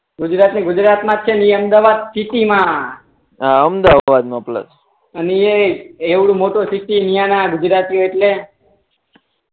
ગુજરાત ની ગુજરાત મા છે ને અમદાવાદ સીટી મા હા અમદાવાદ પેલો ને અને એ એવડો મોટો સીટી મિયાના ગુજતરાતીઓ એટલે